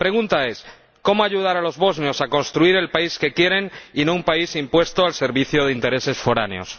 La pregunta es cómo ayudar a los bosnios a construir el país que quieren y no un país impuesto, al servicio de intereses foráneos.